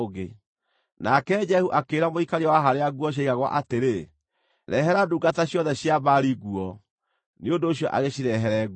Nake Jehu akĩĩra mũikaria wa harĩa nguo ciaigagwo atĩrĩ, “Rehere ndungata ciothe cia Baali nguo.” Nĩ ũndũ ũcio agĩcirehere nguo.